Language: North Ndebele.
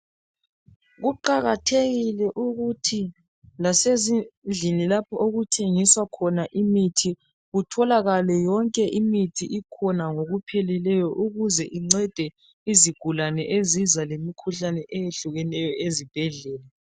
Kuqakathekile ukuthi lasezindlini lapho okuthengiswa khona imithi kutholakale yonke imithi ikhona ngokupheleleyo ukuze incede izigulane eziza lemikhuhlane eyehlukeneyo ezibhedlela.